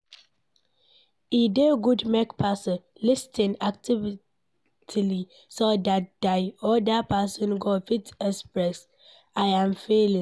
E dey good make person lis ten actively so dat di oda person go fit express im feelings